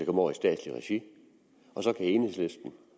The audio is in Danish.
over i statsligt regi og så kan enhedslisten